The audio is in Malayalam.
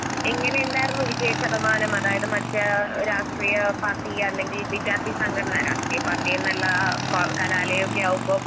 എങ്ങനെയുണ്ടാർന്നു വിജയശതമാനംഅതായത് മറ്റേരാഷ്ട്രീയപാർട്ടി അല്ലെങ്കി വിദ്യാർത്ഥിസംഘടന രാഷ്ട്രീയപാർട്ടീന്നല്ലാ കലാലയൊക്കെയാകുമ്പം